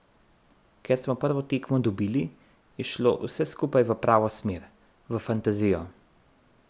Ker smo prvo tekmo dobili, je šlo vse skupaj v pravo smer, v fantazijo.